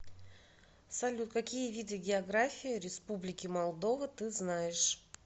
салют какие виды география республики молдова ты знаешь